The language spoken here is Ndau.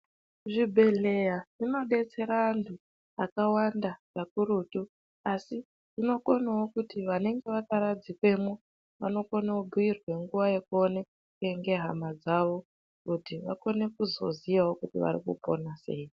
Zvibhedhleya zvinodetsera antu akawanda kakurutu. Asi zvinokonawo kuti vanenge vakaradzikwemwo vanokone kubhuyirwa nguva yakuoneke ngehama dzavo kuti vakone kuzoziyawo kuti varikupona sei.